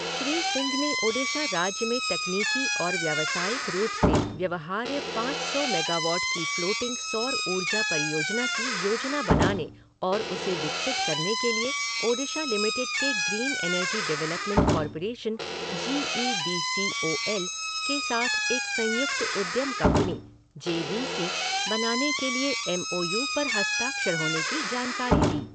श्री सिंह ने ओडिशा राज्य में तकनीकी और व्यावसायिक रूप से व्यवहार्य पाँच सौ मेगावाट की फ़्लोटिंग सौर ऊर्जा परियोजना की योजना बनाने और उसे विकसित करने के लिए ओडिशा लिमिटेड के green energy development corporation G E D C O L के साथ एक संयुक्त उद्यम कंपनी जे वी सी बनाने के लिए एम ओ यू पर हस्ताक्षर होने की जानकारी दी।